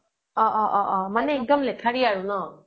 অ অ মানে এক্দম লেথাৰি আৰু ন